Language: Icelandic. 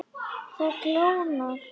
Það kólnar.